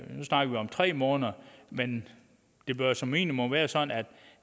nu snakker vi om tre måneder men det bør som minimum være sådan at